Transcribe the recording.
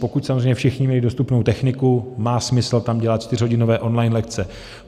Pokud samozřejmě všichni měli dostupnou techniku, má smysl tam dělat čtyřhodinové on-line lekce.